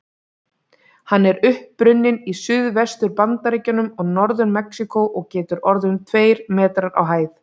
Hann er upprunninn í Suðvestur-Bandaríkjunum og Norður-Mexíkó og getur orðið um tveir metrar á hæð.